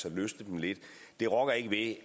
at løsne dem lidt det rokker ikke ved